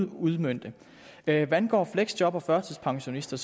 udmønte hvad angår fleksjobbere og førtidspensionister